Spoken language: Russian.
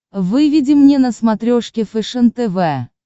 выведи мне на смотрешке фэшен тв